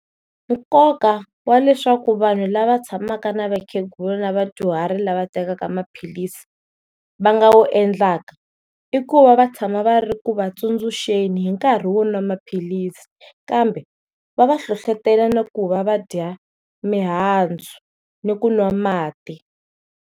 Nkoka wa leswaku vanhu lava tshamaka na vakhegula na vadyuharhi lava tekaka maphilisi va nga wu endlaka i ku va va tshama va ri ku va tsundzuxeni hi nkarhi wo nwa maphilisi, kambe wa va va hlohlotela na ku va va dya mihandzu na ku nwa mati.